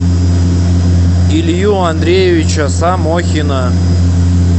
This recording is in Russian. илью андреевича самохина